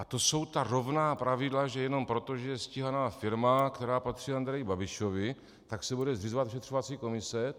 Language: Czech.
A to jsou ta rovná pravidla, že jenom proto, že je stíhaná firma, která patří Andreji Babišovi, tak se bude zřizovat vyšetřovací komise.